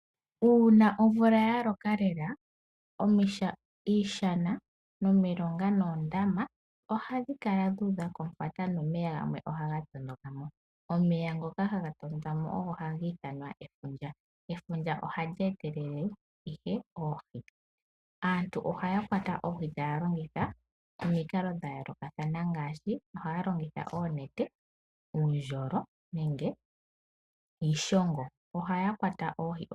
Uuna omvula ya loka lela, iishana, omilonga moondama ohadhi kala dha udha komufata noomeya ohaga ponokamo. Omeya ngoka haga pono ka mo ohaga etelele efundja.